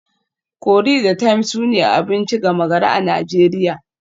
Curry da thyme sune abinci gama gari a Najeriya